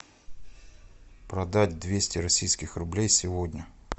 продать двести российских рублей сегодня